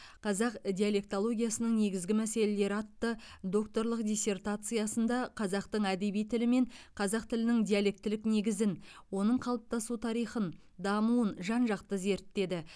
қазақ диалектологиясының негізгі мәселелері атты докторлық диссертациясында қазақтың әдеби тілі мен қазақ тілінің диалектілік негізін оның қалыптасу тарихын дамуын жан жақты зерттеді